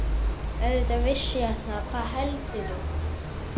Auðvitað vissi ég það, hvað heldurðu!